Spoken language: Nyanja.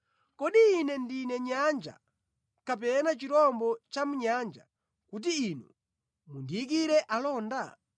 Kodi ine ndine nyanja kapena chirombo chamʼnyanja kuti inu mundiyikire alonda?